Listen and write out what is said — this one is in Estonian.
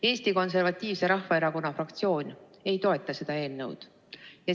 Eesti Konservatiivse Rahvaerakonna fraktsioon ei toeta seda eelnõu.